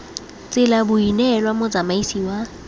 tsela bo neelwa motsamaisi wa